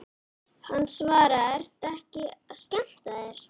Hann svaraði, Ertu ekki að skemmta þér?